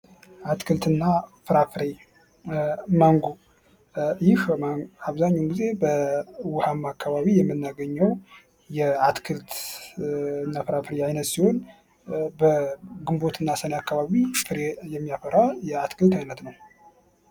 አትክልት እና ፍራፍሬ ፦ ማንጎ ፦ ይህ አብዛኛውን ጊዜ በውሀማ አካባቢ የሚናገኘው የአትክልት እና ፍራፍሬ አይነት ሲሆን በግንቦት እና ሰኔ አካባቢ ፍሬ የሚያፈራ የአትክልት አይነት ነው ።